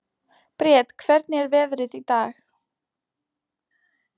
Briet, hvernig er veðrið í dag?